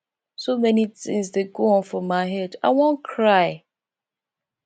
so many things dey go on for my head i wan cry